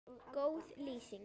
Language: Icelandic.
Góð lýsing?